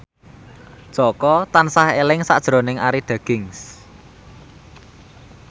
Jaka tansah eling sakjroning Arie Daginks